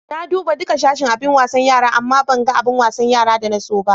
Na duba duka sashin abin wasan yara, amma ban gan abin wasan yara da na so ba.